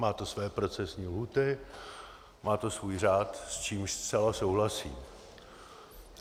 Má to své procesní lhůty, má to svůj řád, s čímž zcela souhlasím.